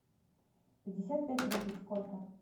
пятьдесят пять рупий сколько